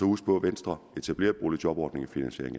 huske på at venstre etablerede boligjobordningen